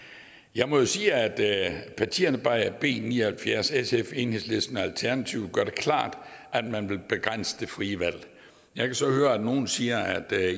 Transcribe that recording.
jeg må jo sige at at partierne bag b ni og halvfjerds sf enhedslisten og alternativet gør det klart at man vil begrænse det frie valg jeg kan så høre at nogle siger at